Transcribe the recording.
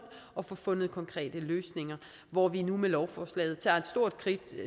og få fundet konkrete løsninger hvor vi nu med lovforslaget tager et stort